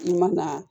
I ma na